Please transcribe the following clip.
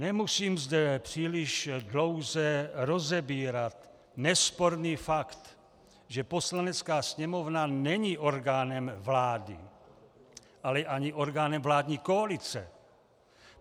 Nemusím zde příliš dlouze rozebírat nesporný fakt, že Poslanecká sněmovna není orgánem vlády, ale ani orgánem vládní koalice.